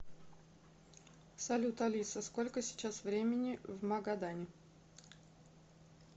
салют алиса сколько сейчас времени в магадане